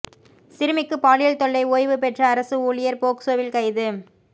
சிறுமிக்கு பாலியல் தொல்லை ஓய்வு பெற்ற அரசு ஊழியர் போக்சோவில் கைது